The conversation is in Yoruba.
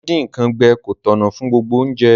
Díndín nkan gbẹ ko tọ̀nà fun gbogbo ounje